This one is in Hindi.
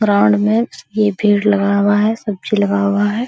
ग्राउंड में उसके भीड़ लगा हुआ है सब्जी लगा हुआ है।